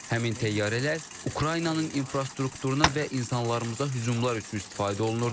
Həmin təyyarələr Ukraynanın infrastrukturuna və insanlarımıza hücumlar üçün istifadə olunurdu.